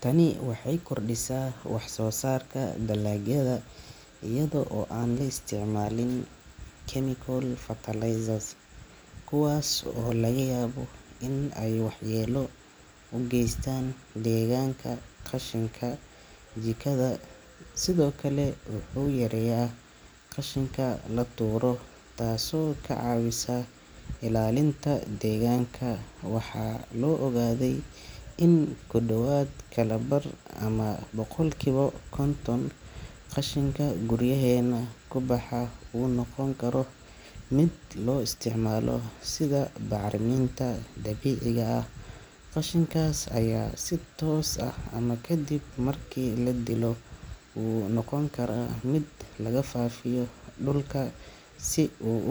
Tani waxay kordhisaa waxsoosaarka dalagyada iyada oo aan la isticmaalin chemical fertilizers kuwaas oo laga yaabo in ay waxyeello u geystaan deegaanka. Qashinka jikada sidoo kale wuxuu yareeyaa qashinka la tuuro, taasoo ka caawisa ilaalinta deegaanka. Waxaa la ogaaday in ku dhowaad kala bar, ama boqolkiiba konton, qashinka guryaheenna ka baxaa uu noqon karo mid la isticmaalo sida bacriminta dabiiciga ah. Qashinkaas ayaa si toos ah ama kadib markii la dilo uu u noqon karaa mid lagu faafiyo dhulka si u.